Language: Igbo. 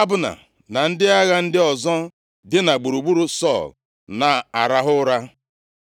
Abna, na ndị agha ndị ọzọ dina gburugburu Sọl na-arahụ ụra.